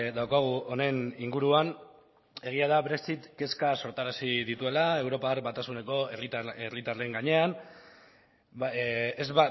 daukagu honen inguruan egia da brexit kezkak sortarazi dituela europar batasuneko herritarren gainean ez